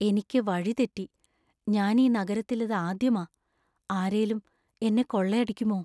എനിക്ക് വഴി തെറ്റി. ഞാൻ ഈ നഗരത്തിൽ ഇതാദ്യമാ. ആരേലും എന്നെ കൊള്ളയടിക്കുമോ?